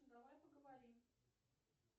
давай поговорим